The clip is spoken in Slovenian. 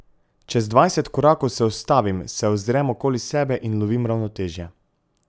Čez dvajset korakov se ustavim, se ozrem okoli sebe in lovim ravnotežje.